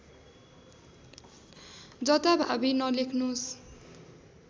जता भावि नलेख्नुस्